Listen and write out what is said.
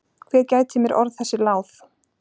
Hver gæti mér orð þessi láð?